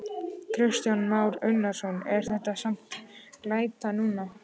Kristján Már Unnarsson: En það er samt glæta núna?